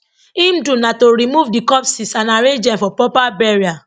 im do na to remove di corpses and arrange dem for proper burial